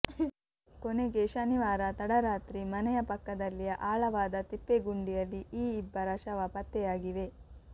ಕೊನೆಗೆ ಶನಿವಾರ ತಡರಾತ್ರಿ ಮನೆಯ ಪಕ್ಕದಲ್ಲಿಯ ಆಳವಾದ ತಿಪ್ಪೆಗುಂಡಿಯಲ್ಲಿಈ ಇಬ್ಬರ ಶವ ಪತ್ತೆಯಾಗಿವೆ